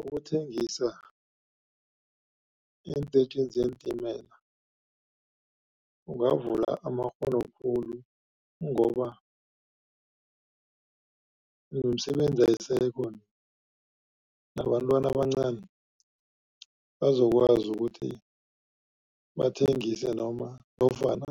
Ukuthengisa eentetjhini zeentimela kungavula amakghono khulu, ngoba nemisebenzi ayisekho, nabantwana abancani bazokwazi ukuthi bathengise, noma nofana